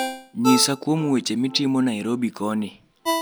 nyisa kuom weche mitimo nairobi koni